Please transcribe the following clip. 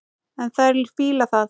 En þær fíla það.